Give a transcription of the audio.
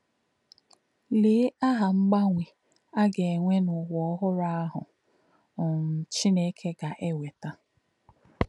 Lè̄ áhá̄ mgbanwè̄ ā̄ gā̄-ènwè̄ n’ụ́wà̄ ọ̀hụ̀rụ́ āhụ̄ um Chīné̄kè̄ gā̄-èwètà̄!